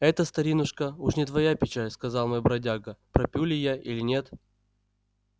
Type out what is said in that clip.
это старинушка уж не твоя печаль сказал мой бродяга пропью ли я или нет